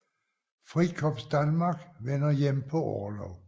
Frikorps Danmark vender hjem på orlov